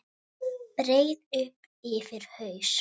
Breiði upp yfir haus.